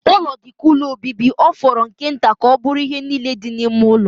Ụlọ dị ka ụlọ obibi, ọ fọrọ nke nta ka ọ bụrụ ihe niile dị n'ime ụlọ.